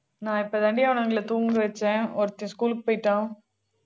நான் இப்பதான்டி அவனுங்களை தூங்க வச்சேன் ஒருத்தன் school க்கு போயிட்டான்